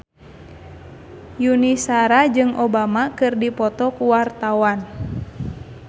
Yuni Shara jeung Obama keur dipoto ku wartawan